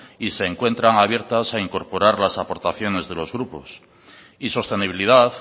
y se encuentran abiertas a incorporar las aportaciones de los grupos y sostenibilidad